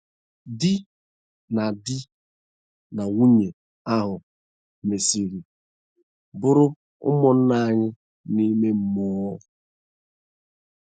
Di na Di na nwunye ahụ mesiri bụrụ ụmụnna anyị n’ime mmụọ.